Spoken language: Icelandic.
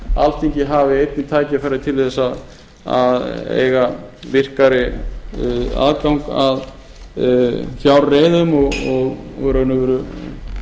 alþingi hafi einnig tækifæri til að eiga virkari aðgang að fjárreiðum og í raun og